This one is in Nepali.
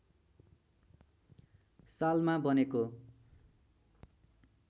सालमा बनेको